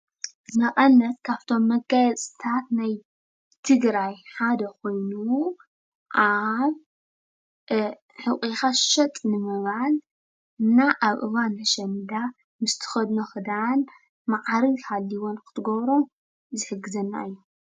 መቐነት ካብቶም መጋየፅታት ናይ ትግራይ ሓደ ኮይኑ ኣብ ሕቖካ ሸጥ ንምባል ኣብ እዋን ኣሸንዳ ምስትኸድኖ ኸዳን መኣርግ ሃልይዎ እትገብሮም ዝሕግዘና እዩ።